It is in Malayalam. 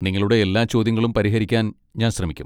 നിങ്ങളുടെ എല്ലാ ചോദ്യങ്ങളും പരിഹരിക്കാൻ ഞാൻ ശ്രമിക്കും.